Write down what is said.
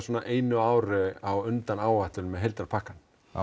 einu ári á undan áætlun með heildarpakkann